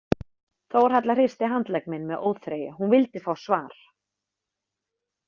Þórhalla hristi handlegg minn með óþreyju, hún vildi fá svar.